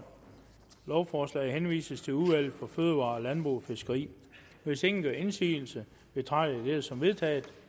lovforslaget henvises til udvalget for fødevarer landbrug og fiskeri hvis ingen gør indsigelse betragter jeg dette som vedtaget